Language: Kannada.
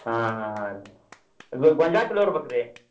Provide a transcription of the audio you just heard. ಹಾ ರೀ ಗೊಂಜ್ಯಾಳ ಚೊಲೋ ಇರ್ಬೆಕ್ರಿ?